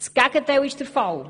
Das Gegenteil ist der Fall.